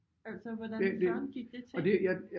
Altså hvordan Søren gik det til?